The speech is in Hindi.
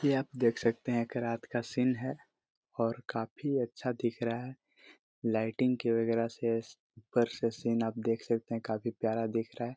यह आप देख सकते रात का सीन है और काफी अच्छा दिख रहा है लाइटिंग के बगेरा से ऊपर से आप देख काफी प्यारा दिख रहा है।